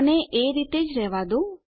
આને એ રીતે જ રહેવા દો